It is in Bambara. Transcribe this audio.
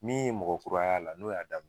Min ye mɔgɔ kura y'a la, n'o y'a daminɛ